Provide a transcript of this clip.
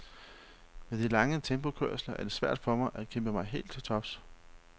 Med de lange tempokørsler er det for svært for mig at kæmpe mig helt til tops.